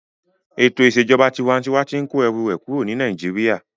Ètò ìṣèjọba tinwatinwa tí n kó ẹrù rẹ̀ kúrò ní Nàìjíríyà